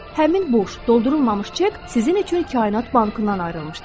Həmin boş doldurulmamış çek sizin üçün Kainat bankından ayrılmışdı.